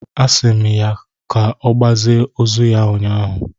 a si m ya ka ogbazie ozu ya ụnyahụ